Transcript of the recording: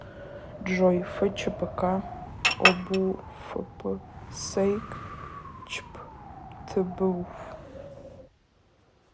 джой фчпк обуфпсэйк чпътбуф